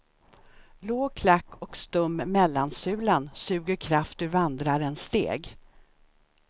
Låg klack och stum mellansulan suger kraft ur vandrarens steg.